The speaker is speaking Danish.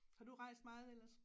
Har du rejst meget ellers?